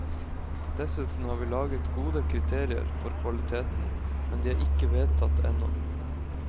Dessuten har vi laget gode kriterier for kvaliteten, men de er ikke vedtatt ennå.